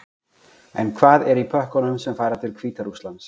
En hvað er í pökkunum sem fara til Hvíta-Rússlands?